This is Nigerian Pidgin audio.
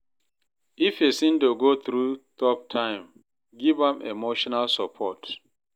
If pesin dey go thru tough time, giv am emotional support.